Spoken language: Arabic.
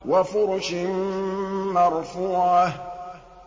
وَفُرُشٍ مَّرْفُوعَةٍ